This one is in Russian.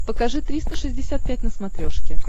покажи триста шестьдесят пять на смотрешке